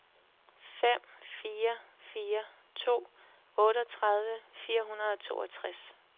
fem fire fire to otteogtredive fire hundrede og toogtres